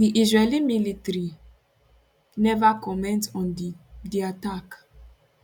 di israeli military neva comment on di di attack